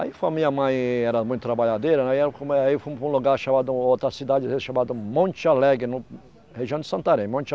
Aí a minha mãe era muito trabalhadeira, né aí era como é aí fomos para um lugar chamado outra cidade chamada Monte Alegre, no região de Santarém. monte